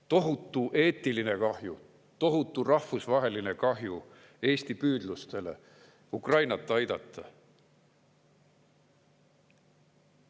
Tohutu eetiline kahju, tohutu rahvusvaheline kahju Eesti püüdlustele Ukrainat aidata.